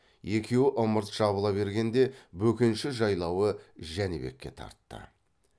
екеуі ымырт жабыла бергенде бөкенші жайлауы жәнібекке тартты